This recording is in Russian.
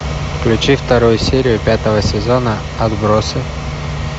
включи вторую серию пятого сезона отбросы